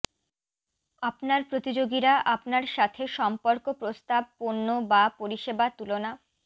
আপনার প্রতিযোগীরা আপনার সাথে সম্পর্ক প্রস্তাব পণ্য বা পরিষেবা তুলনা